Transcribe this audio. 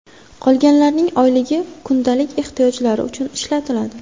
Qolganlarning oyligi kundalik ehtiyojlar uchun ishlatiladi.